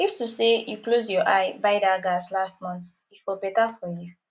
if to say you close eye buy that gas last month e for better for you